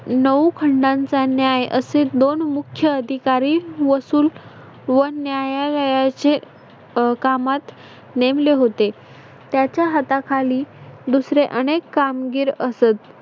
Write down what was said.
नऊ खंडांचा न्याय असे दोन मुख्य अधिकारी वसूल व न्यायालयाचे अह कामात नेमले होते. त्याच्या हाताखाली दुसरे अनेक कामगिर असत.